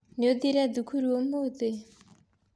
Nĩũthire thukuru ũmũthĩ?